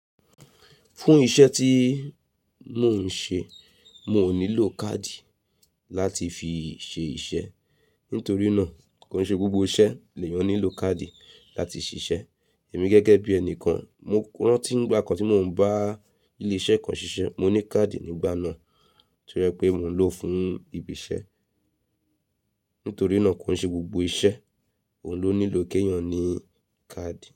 Fún isẹ́ tí mò ń ṣe, mò nílò káàdì láti fi ṣe iṣẹ́. Nítorí náà kò ń ṣe gbogbo iṣẹ́ lè yan nílò káàdì láti ṣiṣẹ́. Èmi gẹ́gẹ́ bí ẹni kan, mo rántí ìgbà kan tí mò ń bá ilé-iṣẹ́ kan ṣiṣẹ́, mo ní káàdì nígbà náà to jẹ pé mò ń lò ó fún ibi iṣẹ́. Nítorí náà kò ń ṣe gbogbo iṣẹ́ òun ló nílò kí èèyàn ní káàdì.